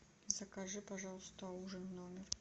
закажи пожалуйста ужин в номер